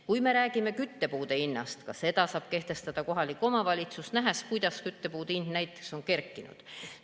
Kui me räägime küttepuude hinnast – ka seda saab kehtestada kohalik omavalitsus, nähes, kuidas küttepuude hind näiteks on kerkinud.